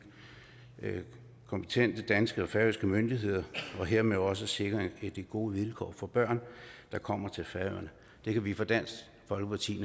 kompetente danske og færøske myndigheder og hermed også sikre gode vilkår for børn der kommer til færøerne det kan vi fra dansk folkepartis